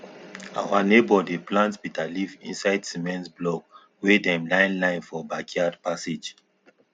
our neighbour dey plant bitterleaf inside cement block wey dem line line for backyard passage